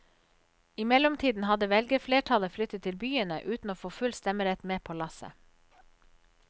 I mellomtiden hadde velgerflertallet flyttet til byene, uten å få full stemmerett med på lasset.